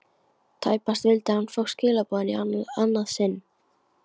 Tæpast vildi hann fá skilaboðin í annað sinn.